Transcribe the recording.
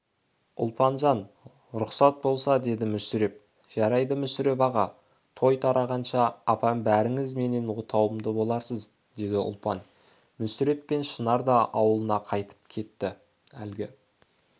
ұлпанжан лұқсат болса деді мүсіреп жарайды мүсіреп аға той тарағанша апам бәріңіз менің отауымда боларсыз деді ұлпан мүсіреп пен шынар да ауылына қайтып кетті әлгі